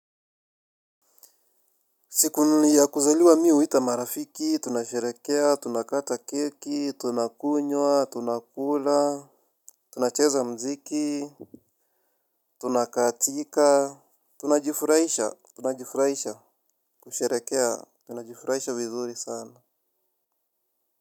Siku ya kuzaliwa mi huita marafiki, tunasherehekea, tunakata keki, tunakunywa, tunakula, tunacheza muziki, tunakatika, tunajifurahisha, tunajifurahisha, kusherehekea, tunajifurahisha vizuri sana.